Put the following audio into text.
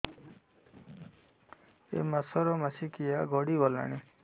ଏଇ ମାସ ର ମାସିକିଆ ଗଡି ଗଲାଣି